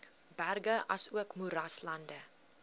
berge asook moeraslande